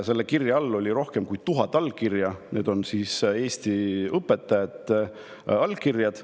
Selle kirja all on rohkem kui 1000 allkirja – need on Eesti õpetajate allkirjad.